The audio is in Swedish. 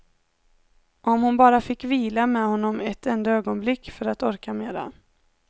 Om hon bara fick vila med honom ett enda ögonblick, för att orka mera.